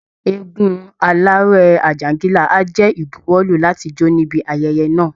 Eégún aláré Àjàǹgìlá á jẹ́ ìbuwọ́lù láti jó níbi ayẹyẹ náà